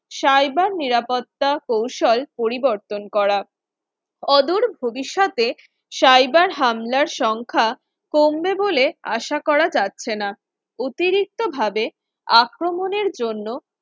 cyber নিরাপত্তা কৌশল পরিবর্তন করা অদূর ভবিষ্যতে cyber হামলার সংখ্যা কমবে বলে আশা করা যাচ্ছে না অতিরিক্তভাবে আক্রমণের জন্য